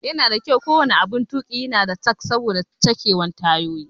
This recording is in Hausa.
Yana da muhimmanci ko wani aɓun tuƙi ya na da jack saboda sachewan tayoyi.